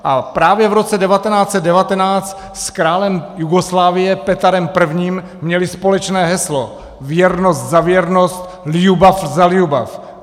A právě v roce 1919 s králem Jugoslávie Petarem I. měli společné heslo "věrnost za věrnost, ljubav za ljubav".